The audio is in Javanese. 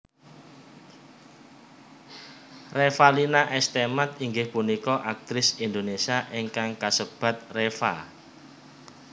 Revalina S Temat inggih punika aktris Indonesia ingkang kasebat Reva